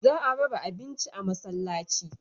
Za a raba abincin a masallaci.